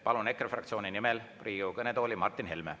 Palun EKRE fraktsiooni nimel Riigikogu kõnetooli Martin Helme.